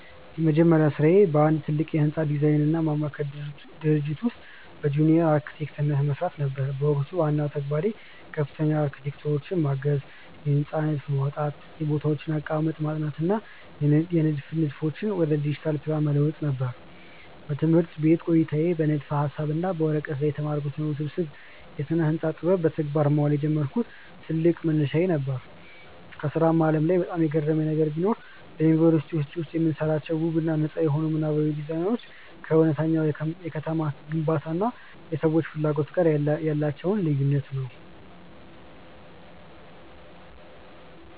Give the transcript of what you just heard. የመጀመሪያ ሥራዬ በአንድ ትልቅ የሕንፃ ዲዛይንና ማማከር ድርጅት ውስጥ በጁኒየር አርክቴክትነት መሥራት ነበር። በወቅቱ ዋናው ተግባሬ ከፍተኛ አርክቴክቶችን ማገዝ፣ የሕንፃዎችን ንድፍ ማውጣት፣ የቦታዎችን አቀማመጥ ማጥናት እና የንድፍ ንድፎችን ወደ ዲጂታል ፕላን መለወጥ ነበር። በትምህርት ቤት ቆይታዬ በንድፈ-ሐሳብ እና በወረቀት ላይ የተማርኩትን ውስብስብ የስነ-ህንፃ ጥበብ በተግባር ማዋል የጀመርኩበት ትልቅ መነሻዬ ነበር። በሥራው ዓለም ላይ በጣም የገረመኝ ነገር ቢኖር፣ በዩኒቨርሲቲ ውስጥ የምንሰራቸው ውብ እና ነጻ የሆኑ ምናባዊ ዲዛይኖች ከእውነተኛው የከተማ ግንባታ እና የሰዎች ፍላጎት ጋር ያላቸው ልዩነት ነው።